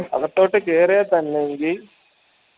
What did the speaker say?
അകത്തോട്ട് കേറിയ തന്നെങ്കി